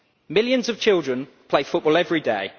Millions of children play football every day.